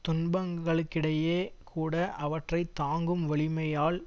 துன்பங்களுக்கிடையே கூட அவற்றை தாங்கும் வலிமையால்